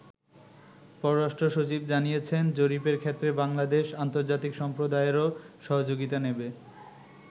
পররাষ্ট্র সচিব জানিয়েছেন, জরিপের ক্ষেত্রে বাংলাদেশ আন্তর্জাতিক সম্প্রদায়েরও সহযোগিতা নেবে।